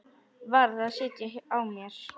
Varð að sitja á mér.